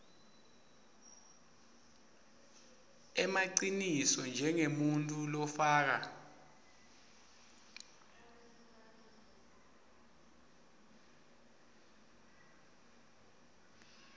emaciniso njengemuntfu lofako